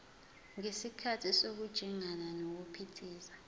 ngesikhathi sokujingana nokuphithiza